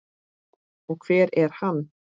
Og hver er hann?